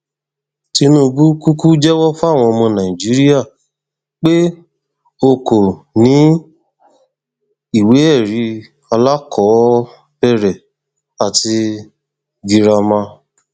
tinubu kúkú jẹwọ fáwọn ọmọ nàìjíríà pé o kò ní ìwéẹrí alákọọbẹrẹ àti girama